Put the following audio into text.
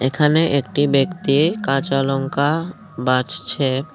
এখানে একটি ব্যক্তির কাঁচা লঙ্কা বাছছে।